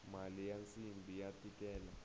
mali ya nsimbhi ya tikela